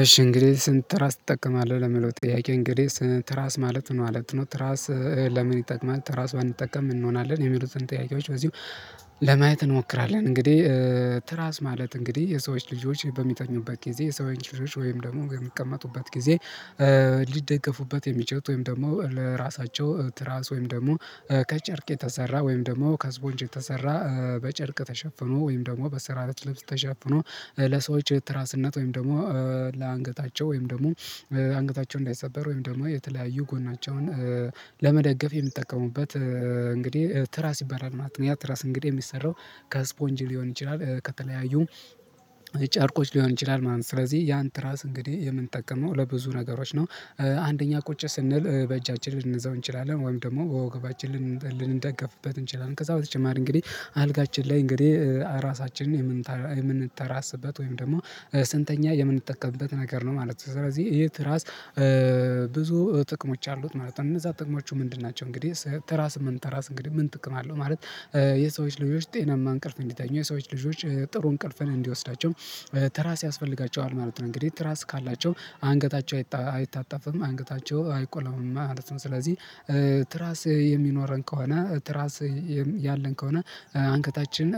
እሺ እንግዲህ ስንት ትራስ ትጠቀማለህ ለሚለው ጥያቄ እንግዲህ ትራስ ማለት ነው ማለት ነው ትራስ ለምን ይጠቅማል ትራስ ባንጠቀም ምን እንሆናለን የሚሉትን ጥያቄዎች በዚህ ለማየት እንሞክራለን። እንግዲህ ትራስ ማለት እንግዲህ የሰዎች ልጆች በሚተኙበት ጊዜ የሰው ልጆች ወይም ደግሞ በሚቀመጡበት ጊዜ። ሊደገፉበት የሚችሉትት ወይም ደግሞ ለራሳቸው ትራስ ወይም ደግሞ ከጨርቅ የተሰራ ወይም ደግሞ ከስፖንጅ የተሰራ በጨርቅ ተሸፍኖ ወይም ደግሞ በትራስ ልብስ ተሸፍኖ ለሰዎች የትራስነት ወይም ደግሞ ለአንገታቸው ወይም ደግሞ አንገታቸው እንዳይሰበር ወይም ደግሞ የተለያዩ ጎናቸውን ለመደገፍ የሚጠቀሙበት እንግዲህ ትራስ ይባላል ማለት ነው። ያ ትራስ እንግዲህ የሚሰራው ከስፖንጅ ሊሆን ይችላል ከተለያዩ ጨርቆች ሊሆን ይችላል ማለት ነው ስለዚህ ያን ትራስ እንግዲህ የምንጠቀመው ለብዙ ነገሮች ነው። አንደኛ ቁጭ ስንል በእጃችን ልንዘው እንችላለን ወይም ደግሞ ወገባችን ልንደገፍበት እንችላለን ከዛ በተጨማሪ እንግዲህ አልጋችን ላይ እንግዲህ ራሳችንን የምንተራስበት ወይም ደግሞ ስንተኛ የምንጠቀምበት ነገር ነው ማለት ነው። ስለዚህ የት ራስ ብዙ ጥቅሞች አሉት ማለት ነው። እነዛ ጥቅሞች ምንድን ናቸው? እንግዲህ ስምንተራስ እንግዲህ ምን ጥቅም አለው ማለት? የሰዎች ልጆች ጤናማ እንቅልፍ እንዲተኛ የሰዎች ልጆች ጥሩ እንቅልፍን እንዲወስዳቸው ትራስ ያስፈልጋቸዋል ማለት ነው። እንግዲህ ትራስ ካላቸው አንገታቸው አይታጣፍም አንገታቸው አይቆላመም ማለት ነው። ስለዚህ ትራስ የሚኖረን ከሆነ ትራስ ያለን ከሆነ አንገታችን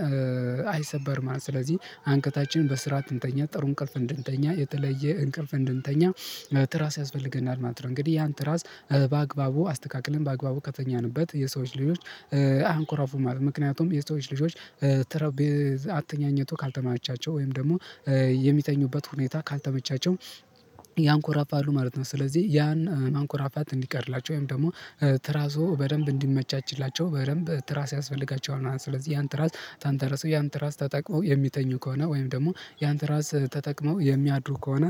አይሰበርም ማለት ነው። ስለዚህ አንገታችን በስርዓት እንድተኛ ጥሩ እንቅልፍ እንድተኛ የተለየ እንቅልፍ እንድተኛ ትራስ ያስፈልገናል ማለት ነው። እንግዲህ ያን ትራስ በአግባቡ አስተካክለን በአግባቡ ከተኛንበት የሰዎች ልጆች አያንኮራፉም ማለት ነው። ምክንያቱም የሰዎች ልጆች ተረብ አትኛኝቱ ካልተማቻቸው ወይም ደግሞ የሚተኙበት ሁኔታ ካልተመቻቸው ያንኮራፋሉ ማለት ነው። ስለዚህ ያን ማንኮራፋት እንዲቀርላቸው ወይም ደግሞ ትራሱ በደንብ እንዲመቻችላቸው በደንብ ትራስ ያስፈልጋቸዋል ማለት ነው። ስለዚህ ያን ትራስ ተንትረሰው ያን ትራስ ተጥቅመው የሚተኙ ከሆነ ወይም ደግሞ ያን ትራስ ተጠቅመው የሚያድሩ ከሆነ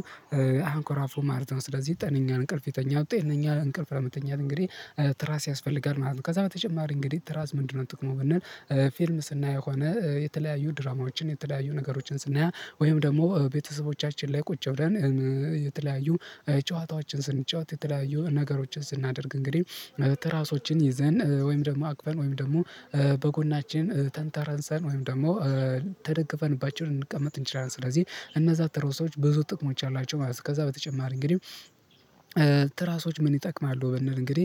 አያንኮራፉም ማለት ነው። ስለዚህ ጤነኛን እንቅልፍ ይተኛሉ ጤነኛ እንቅልፍ ለመተኛት እንግዲህ ትራስ ያስፈልጋል ማለት ነው። ከዛ በተጨማሪ እንግዲህ ትራስ ምንድነው ጥቅሙ ብንል? ፊልም ስናይ የሆነ የተለያዩ ድራማዎችን የተለያዩ ነገሮችን ስናይ ወይም ደግሞ ቤተሰቦቻችን ላይ ቁጭ ብለን የተለያዩ ጨዋታዎችን ስንጫወት የተለያዩ ነገሮችን ስናደርግ እንግዲህ ትራሶችን ይዘን ወይም ደግሞ አቅፈን ወይም ደግሞ በጎናችን ተንተረሰን ወይም ደግሞ ተደግፈን በአጭር ልንቀመጥ እንችላለን። ስለዚህ እነዛ ትራሶች ብዙ ጥቅሞች አሏቸው። ከዛ በተጨማሪ እንግዲህ ትራሶች ምን ይጠቅማሉ? ብንል እንግዲህ።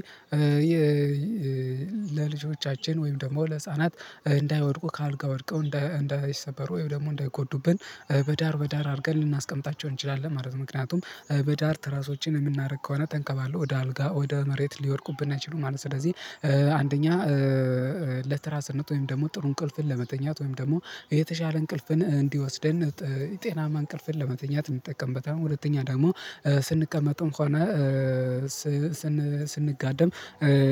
ለልጆቻችን ወይም ደግሞ ለህፃናት እንዳይወድቁ ከአልጋ ወድቀው እንዳይሰበሩ ወይም ደግሞ እንዳይጎዱብን በዳር በዳር አድርገን ልናስቀምጣቸው እንችላለን ማለት ነው። ምክንያቱም በዳር ትራሶችን የምናደርግ ከሆነ ተንከባሎ ወደ አልጋ ወደ መሬት ሊወድቁብን አይችሉም ማለት ነው። ስለዚህ አንደኛ ለትራስነት ወይም ደግሞ ጥሩ እንቅልፍን ለመተኛት ወይም ደግሞ የተሻለ እንቅልፍን እንዲወስደን ጤናማ እንቅልፍን ለመተኛት እንጠቀምበታለን። ሁለተኛ ደግሞ ስንቀመጥ እንኳን ስንጋደም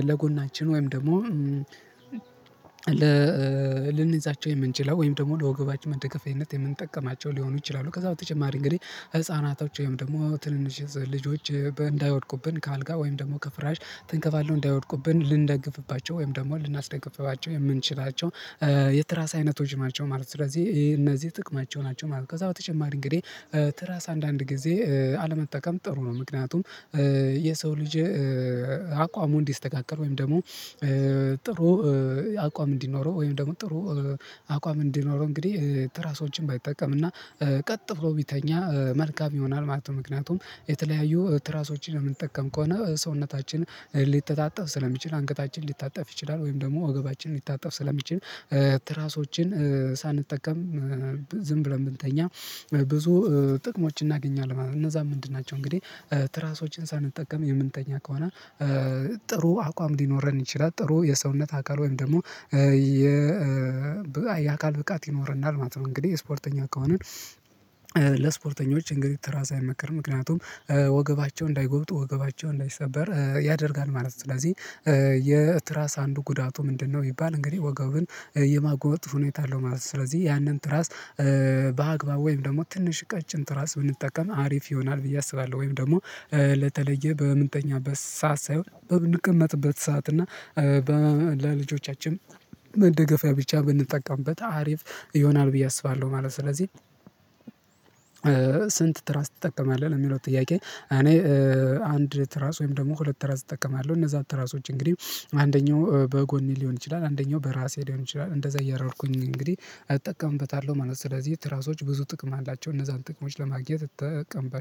ለጎናችን ወይም ደግሞ ለልንይዛቸው የምንችለው ወይም ደግሞ ለወገባችን መደገፊያነት የምንጠቀማቸው ሊሆኑ ይችላሉ። ከዛ በተጨማሪ እንግዲህ ህፃናቶች ወይም ደግሞ ትንንሽ ልጆች እንዳይወድቁብን ከአልጋ ወይም ደግሞ ከፍራሽ ትንከባለው እንዳይወድቁብን ልንደግፍባቸው ወይም ደግሞ ልናስደግፍባቸው የምንችላቸው የትራስ አይነቶች ማለት ነው። ስለዚህ ይሄ እነዚህ ጥቅማቸው ናቸው ማለት ነው። ከዛ በተጨማሪ እንግዲህ ትራስ አንዳንድ ጊዜ አለመጠቀም ጥሩ ነው። ምክንያቱም የሰው ልጅ አቋሙን እንዲስተካከል ወይም ደግሞ ጥሩ አቋም እንዲኖረው ወይም ደግሞ ጥሩ አቋም እንዲኖረው እንግዲህ ትራሶችን ባይጠቀም እና ቀጥ ብሎ ቢተኛ መልካም ይሆናል ማለት ነው። ምክንያቱም የተለያዩ ትራሶችን የምንጠቀም ከሆነ ሰውነታችን ሊተጣጠፍ ስለሚችል አንቀታችን ሊታጠፍ ይችላል ወይም ደግሞ ወገባችንን ሊታጠፍ ስለሚችል ትራሶችን ሳንጠቀም ዝም ብለን ብንተኛ ብዙ ጥቅሞችን እናገኛለን። እነዛ ምንድን ናቸው? እንግዲህ ትራሶችን ሳንጠቀም የምንተኛ ከሆነ ጥሩ አቋም ሊኖረን ይችላል ጥሩ የሰውነት አካል ወይም ደግሞ የ የአካል ብቃት ይኖረናል ማለት ነው። እንግዲህ ስፖርተኛ ከሆነን ለስፖርተኞች እንግዲህ ትራስ አይመክርም ምክንያቱም ወገባቸው እንዳይጎብጥ ወገባቸው እንዳይሰበር ያደርጋል ማለት ነው። ስለዚህ የትራስ አንዱ ጉዳቱ ምንድነው ቢባል እንግዲህ ወገብን የማጎበጥ ሁኔታ አለው ማለት ነው። ስለዚህ ያንን ትራስ በአግባብ ወይም ደግሞ ትንሽ ቀጭን ትራስ ብንጠቀም አሪፍ ይሆናል ብዬ አስባለሁ። ወይም ደግሞ በተለየ በምንተኛበት ሰዓት ሳይሆን በምንቀመጥበት ሰዓት እና ለልጆቻችን መደገፊያ ብቻ ብንጠቀምበት አሪፍ ይሆናል ብዬ አስባለሁ ማለት ነው። ስለዚህ ስንት ትራስ ትጠቀማለህ ለሚለው ጥያቄ። እኔ አንድ ትራስ ወይም ደግሞ ሁለት ትራስ እጠቀማለሁ እነዛን ትራሶች እንግዲህ አንደኛው በጎኔ ሊሆን ይችላል አንደኛው በራሴ ሊሆን ይችላል እንደዛ እያረረኩኝ እንግዲህ እጠቀምበታለሁ ማለት ነው። ስለዚህ ትራሶች ብዙ ጥቅም አላቸው። እነዛን ጥቅሞች ለማግኘት እጠቀምባቸዋለሁ